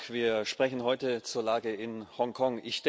Wir sprechen heute zur Lage in Hongkong.